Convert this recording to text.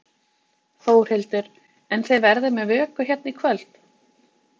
Þórhildur: En þið verðið með vöku hérna í kvöld?